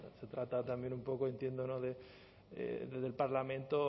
se trata también un poco entiendo desde el parlamento